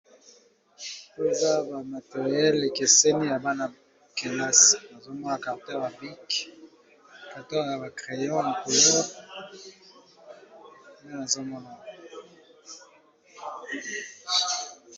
Oyo eza ba materiele ekeseni ya bana kelasi nazomona carton yaba bike, carton ya ba crayon, ya couleur nde nazomona.